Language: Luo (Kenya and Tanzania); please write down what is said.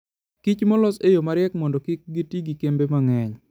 Kich molos e yo mariek mondo kik giti gi kembe mang'eny.